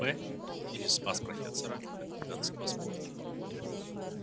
в или спас профессора от гигантского спрута